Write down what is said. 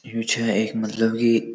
यो छै एक मतलब की --